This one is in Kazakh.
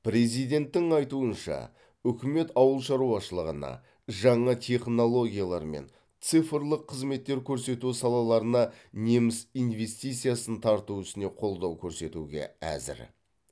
президенттің айтуынша үкімет ауыл шаруашылығына жаңа технологиялар мен цифрлық қызметтер көрсету салаларына неміс инвестициясын тарту ісіне қолдау көрсетуге әзір